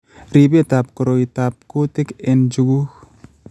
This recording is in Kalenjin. Ribetap koroitap kutik end njukuk